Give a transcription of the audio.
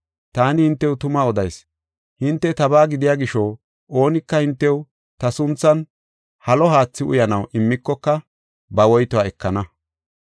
Taani hintew tuma odayis; hinte tabaa gidiya gisho, oonika hintew ta sunthan halo haathi uyanaw immikoka, ba woytuwa ekana.